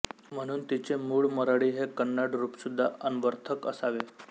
म्हणून तिचे मूळ मरळी हे कन्नड रूपसुद्धा अन्वर्थक असावे